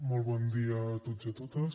molt bon dia a tots i totes